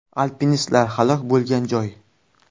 Alpinistlar halok bo‘lgan joy.